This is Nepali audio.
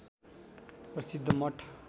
प्रसिद्ध मठ